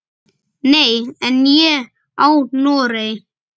Nei, en ég á Noreg.